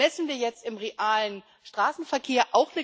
Das messen wir jetzt im realen Straßenverkehr.